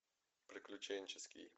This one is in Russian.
приключенческий